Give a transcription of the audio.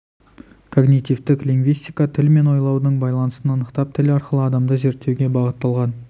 когнитивтік лингвистика тіл мен ойлаудың байланысын анықтап тіл арқылы адамды зерттеуге бағытталған